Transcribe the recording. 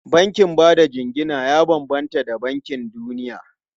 Bankin ba da jingina ya bambanta da bankin duniya.